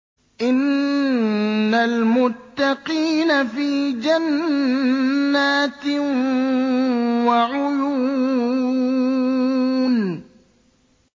إِنَّ الْمُتَّقِينَ فِي جَنَّاتٍ وَعُيُونٍ